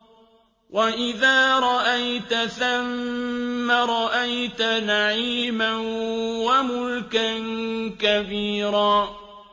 وَإِذَا رَأَيْتَ ثَمَّ رَأَيْتَ نَعِيمًا وَمُلْكًا كَبِيرًا